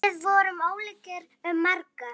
Við vorum ólíkir um margt.